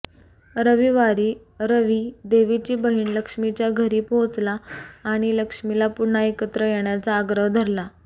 रविवारी रवि देवीची बहीण लक्ष्मीच्या घरी पोहोचला आणि लक्ष्मीला पुन्हा एकत्र येण्याचा आग्रह धरला